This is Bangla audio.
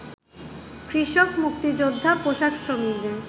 কৃষক, মুক্তিযোদ্ধা, পোশাকশ্রমিকদের